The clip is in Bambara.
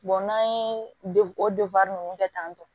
n'an ye o ninnu kɛ tan